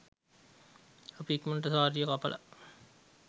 අපි ඉක්මනට සාරිය කපලා